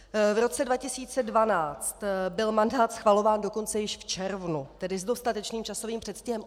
V roce 2012 byl mandát schvalován dokonce již v červnu, tedy s dostatečným časovým předstihem.